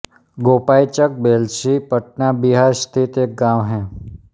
गोपाइचक बेल्छी पटना बिहार स्थित एक गाँव है